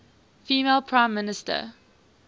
female prime minister